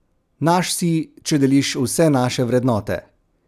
Naš si, če deliš vse naše vrednote!